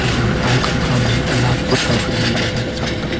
wa akham khama light kutho kuni lele tham taga.